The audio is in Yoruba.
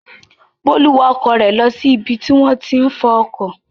Bólú wa ọkọ̀ rẹ̀ lọ sí ibi tí wọ́n ti ń fọ ọkọ̀.